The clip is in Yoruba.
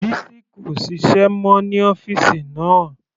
Bisi kò ṣiṣẹ́ mọ́ ní ọ́fìsì náà.